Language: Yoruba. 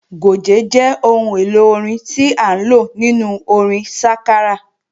Gòjé jẹ́ ohun èlò orin tí à ń lò nínú orin sákárà